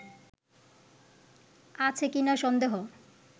আছে কিনা সন্দেহ